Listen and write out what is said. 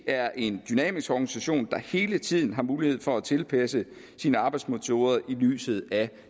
er en dynamisk organisation der hele tiden har mulighed for at tilpasse sine arbejdsmetoder i lyset af